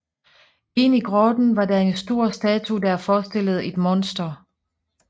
Inde i grotten var der en stor statue der forestillede et monster